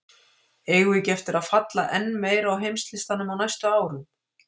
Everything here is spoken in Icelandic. Eigum við ekki eftir að falla enn meira á heimslistanum á næstu árum??